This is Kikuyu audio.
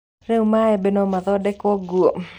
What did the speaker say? Rĩu maembe nomathondekwo nguo?